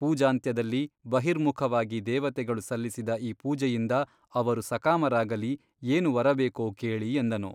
ಪೂಜಾಂತ್ಯದಲ್ಲಿ ಬಹಿರ್ಮುಖವಾಗಿ ದೇವತೆಗಳು ಸಲ್ಲಿಸಿದ ಈ ಪೂಜೆಯಿಂದ ಅವರು ಸಕಾಮರಾಗಲಿ ಏನು ವರಬೇಕೋ ಕೇಳಿ ಎಂದನು.